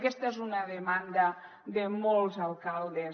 aquesta és una demanda de molts alcaldes